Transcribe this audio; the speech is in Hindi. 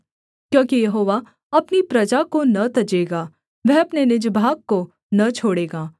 क्योंकि यहोवा अपनी प्रजा को न तजेगा वह अपने निज भाग को न छोड़ेगा